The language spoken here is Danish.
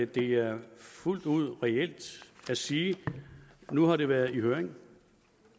det er fuldt ud reelt at sige at nu har det været i høring